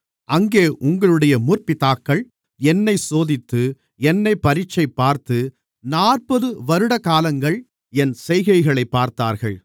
அங்கே உங்களுடைய முற்பிதாக்கள் என்னைச் சோதித்து என்னைப் பரீட்சைபார்த்து நாற்பது வருடகாலங்கள் என் செய்கைகளைப் பார்த்தார்கள்